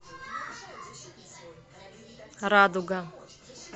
радуга